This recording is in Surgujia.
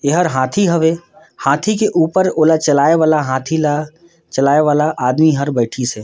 एहर हाथी हवे हाथी के ऊपर ओला चलाए वाला हाथी ला चलाए वाला आदमी हर बैठीसे।